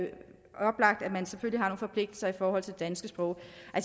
man selvfølgelig har nogle forpligtelser i forhold til det danske sprog